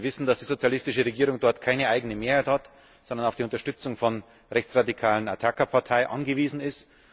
Sie wissen, dass die sozialistische Regierung dort keine eigene Mehrheit hat, sondern auf die Unterstützung der rechtsradikalen Partei Ataka angewiesen ist.